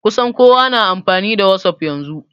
Kusan kowa na amfani da wasuf yanzu